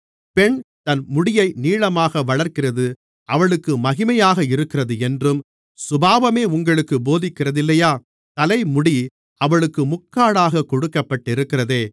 பெண் தன் முடியை நீளமாக வளர்க்கிறது அவளுக்கு மகிமையாக இருக்கிறதென்றும் சுபாவமே உங்களுக்குப் போதிக்கிறதில்லையா தலைமுடி அவளுக்கு முக்காடாகக் கொடுக்கப்பட்டிருக்கிறதே